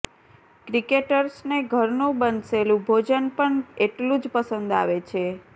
ક્રિકેટર્સને ઘરનું બંશેલું ભોજન પણ એટલું જ પસંદ આવે છે